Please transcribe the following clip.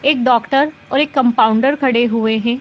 एक डॉक्टर और एक कम्पाउण्डर खड़े हुए हैं।